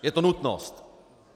Je to nutnost.